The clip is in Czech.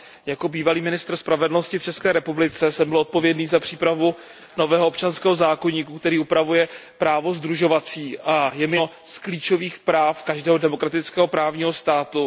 Jako bývalý ministr spravedlnosti v České republice jsem byl odpovědný za přípravu nového občanského zákoníku, který upravuje právo sdružovací, a je mi jasné, že toto je jedno z klíčových práv každého demokratického právního státu.